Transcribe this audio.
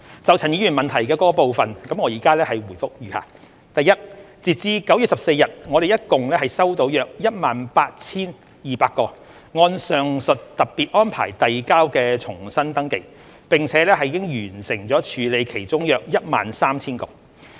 就陳議員質詢的各部分，我現答覆如下：一截至9月14日，我們合共收到約 18,200 個按上述特別安排遞交的重新登記，並已完成處理其中約 13,000 個。